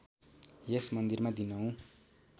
यस मन्दिरमा दिनहुँ